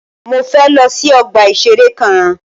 Mọ fẹ lọ sí ọgbà ìṣẹ̀rẹ́ kan.